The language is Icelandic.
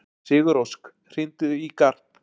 Sigurósk, hringdu í Garp.